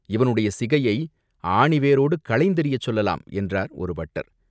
இவனுடைய சிகையை ஆணி வேரோடு களைந்தெறியச் சொல்லலாம்!" என்றார் ஒரு பட்டர்.